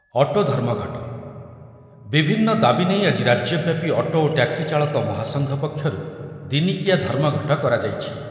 Auto ଧର୍ମଘଟ, ବିଭନ୍ନ ଦାବି ନେଇ ଆଜି ରାଜ୍ୟବ୍ୟାପୀ ଅଟୋ ଓ ଟ୍ୟାକ୍ସି ଚାଳକ ମହାସଂଘ ପକ୍ଷରୁ ଦିନିକିଆ ଧର୍ମଘଟ କରାଯାଇଛି।